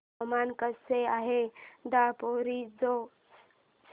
हवामान कसे आहे दापोरिजो चे